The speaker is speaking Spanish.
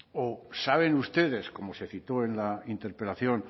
o saben ustedes como se citó en la interpelación